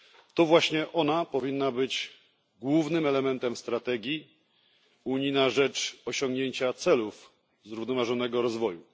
To właśnie ona powinna być głównym elementem strategii Unii na rzecz osiągnięcia celów zrównoważonego rozwoju.